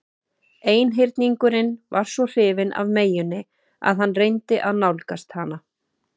Einhyrningurinn var svo hrifinn af meyjunni að hann reyndi að nálgast hana.